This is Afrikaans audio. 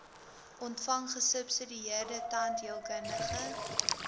ontvang gesubsidieerde tandheelkundige